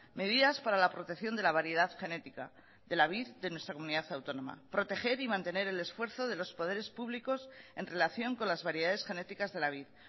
medidas para la protección de la variedad genética de la vid de nuestra comunidad autónoma proteger y mantener el esfuerzo de los poderes públicos en relación con las variedades genéticas de la vid